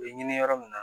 U bɛ ɲini yɔrɔ min na